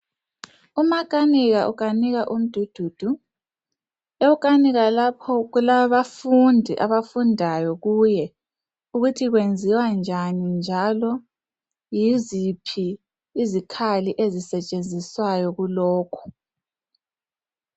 Umakanika ukanika umdududu. Ewukanika lapho kulabafundi abafundayo kuye ukuthi kwenziwa njani njalo yiziphi izikhali ezisetshenziswayo kulokho.